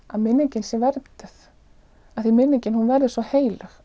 að minningin sé vernduð því minningin verður svo heilög